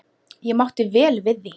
Ég mátti vel við því.